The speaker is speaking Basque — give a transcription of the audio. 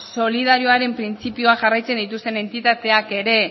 solidarioaren printzipioa jarraitzen dituzten entitateak ere